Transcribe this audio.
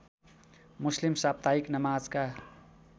मुस्लिम साप्ताहिक नमाजका